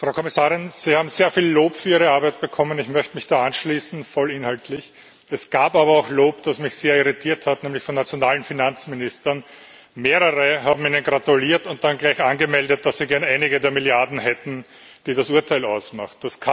Frau Kommissarin, Sie haben sehr viel Lob für Ihre Arbeit bekommen. Ich möchte mich da vollinhaltlich anschließen. Es gab aber auch Lob, das mich sehr irritiert hat, nämlich von nationalen Finanzministern. Mehrere haben Ihnen gratuliert und dann gleich angemeldet, dass sie gern einige der Milliarden hätten, die das Urteil ausmacht.